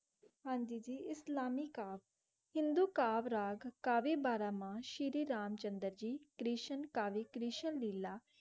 हांजी जी इस्लाम कव हिंदी कवरेज काफी बारह मनः शेरे राम चन्दर जीत क्रेशन कवी क्रेशन विला.